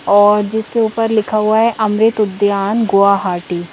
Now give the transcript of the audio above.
और जिसके ऊपर लिखा हुआ है अमृत उद्यान गुआहाटी ।